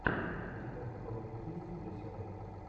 у тебя в каталоге есть леся рэй